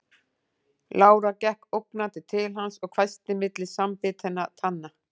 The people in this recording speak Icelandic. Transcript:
Lára gekk ógnandi til hans og hvæsti milli samanbitinna tanna